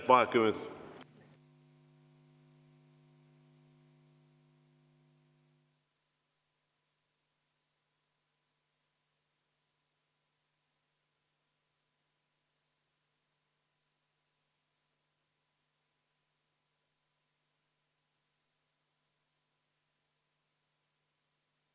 Vaheaeg kümme minutit.